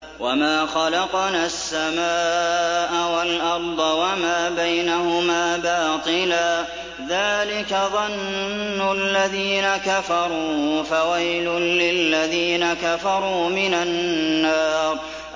وَمَا خَلَقْنَا السَّمَاءَ وَالْأَرْضَ وَمَا بَيْنَهُمَا بَاطِلًا ۚ ذَٰلِكَ ظَنُّ الَّذِينَ كَفَرُوا ۚ فَوَيْلٌ لِّلَّذِينَ كَفَرُوا مِنَ النَّارِ